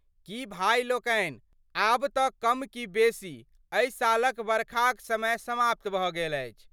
की भाइ लोकनि आब तऽ कम कि बेशी एहि सालक वर्खाक समय समाप्त भऽ गेल अछि।